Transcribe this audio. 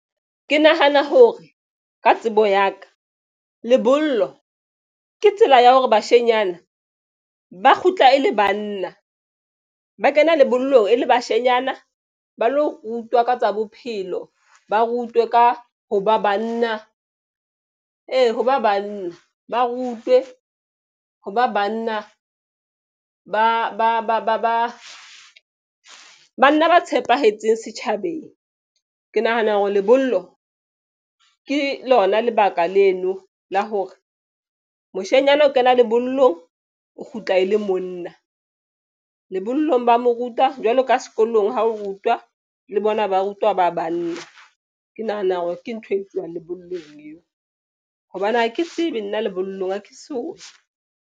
Ke nahana hore ka tsebo ya ka lebollo ke tsela ya hore bashenyana ba kgutla e le banna ba kena lebollo e le bashanyana ba lo rutwa ka tsa bophelo. Ba rutwe ka ho ba banna ee hoba banna ba rutwe ho ba banna ba banna ba tshepahetseng setjhabeng. Ke nahana hore lebollo ke lona lebaka leno la hore moshanyana o kena lebollong o kgutla e le monna lebollong ba mo ruta jwalo ka sekolong ha o rutwa le bona ba rutwa ba banna. Ke nahana hore ke ntho e tsuwang lebollong eo hobane ha ke tsebe nna lebollong ha ke so.